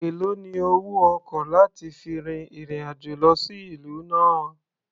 Èlòó ni owó ọkọ̀ láti fi fin ìrìn-àjò lọ sí ìlú náà?